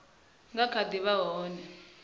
nga kha ḓi vha vho